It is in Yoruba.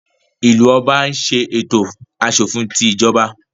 Ìlú Ọba ń ṣe ètò aṣòfin tí ìjọba